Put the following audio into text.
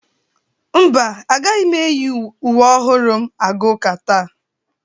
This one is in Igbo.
Mba, agaghị m eyi uwe ọhụrụ m aga ụka taa.